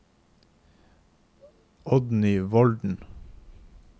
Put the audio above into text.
Oddny Volden